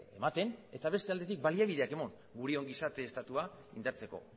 ematen eta beste aldetik baliabideak eman gure ongizate estatua indartzeko